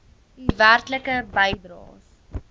u werklike bydraes